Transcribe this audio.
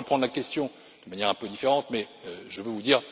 Nous allons reprendre la question de manière un peu différente, mais je veux vous dire